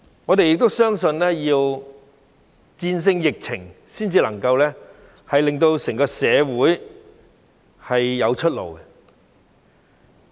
我們相信，要戰勝疫情才能夠令整個社會有出路。